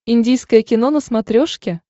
индийское кино на смотрешке